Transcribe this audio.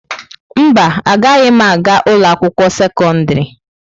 Mba, agaghị m aga ụlọ akwụkwọ sekọndrị.